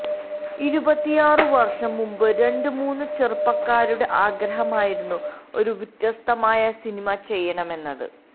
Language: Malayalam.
ഇരുപത്തിയാറ് വർഷം മുമ്പ് രണ്ടു മൂന്ന് ചെറുപ്പക്കാരുടെ ആഗ്രഹമായിരുന്നു ഒരു വ്യത്യസ്തമായ സിനിമ ചെയ്യണം എന്നത്